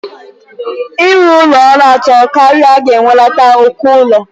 Ịrụ ụlọ ọnụ atọ karịa ga-ewelata ụkọ ụlọ.